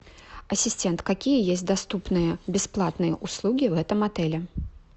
ассистент какие есть доступные бесплатные услуги в этом отеле